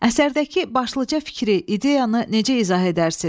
Əsərdəki başlıca fikri, ideyanı necə izah edərsiniz?